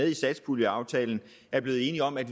i satspuljeaftalen er blevet enige om at